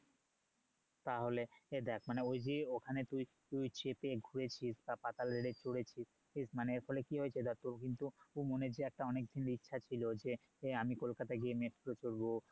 তাহলে দেখ মানে ওই যে ওখানে তুই তুই চেপে ঘুরেছিস তা পাতাল rail এ চড়েছিস মানে এর ফলে কি হয়েছে ধর তোর কিন্তু মনের যে অনেকদিনের ইচ্ছা ছিল যে আমি কলকাতা গিয়ে metro চড়বো